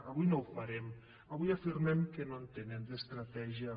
avui no ho farem avui afirmem que no en tenen d’estratègia